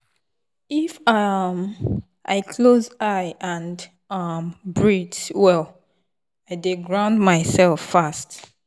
if um i close eye and um breathe well i dey ground myself fast.